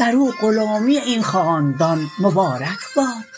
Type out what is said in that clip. برو غلامی این خاندان مبارک باد